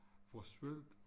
For sylt